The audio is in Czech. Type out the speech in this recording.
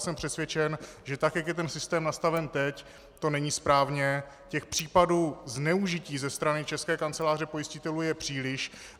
Jsem přesvědčen, že tak jak je ten systém nastaven teď, to není správně, těch případů zneužití ze strany České kanceláře pojistitelů je příliš.